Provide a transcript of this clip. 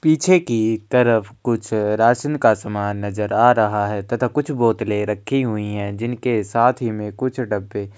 पीछे की तरफ कुछ राशन का समान नजर आ रहा है तथा कुछ बोतले रखी हुई है जिनके साथ ही में कुछ डब्बे --